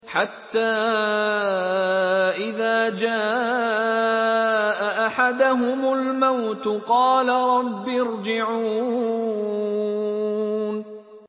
حَتَّىٰ إِذَا جَاءَ أَحَدَهُمُ الْمَوْتُ قَالَ رَبِّ ارْجِعُونِ